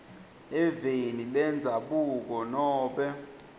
eveni lendzabuko nobe